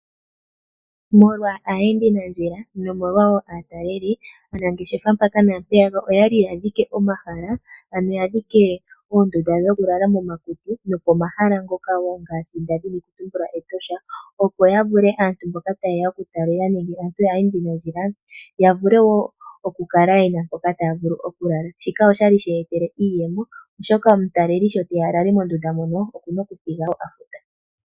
Molwa aayendi nandjila naatalelì aanangeshefa mpaka naampeyaka oyadhike oondunda dhokulala momahala ngaashi etosha, opo aayendi nandjila ya vule oku kala yena mpoka taya lala. Shino ohashi ya etele iiyemo oshoka omuntu okuna okufuta iimaliwa opo alalemo mehala mo.